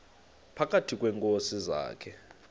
phakathi kweenkosi zakhe